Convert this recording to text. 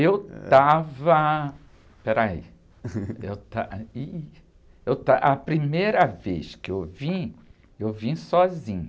Eu estava, espera aí, eu está, eu está, a primeira vez que eu vim, eu vim sozinha.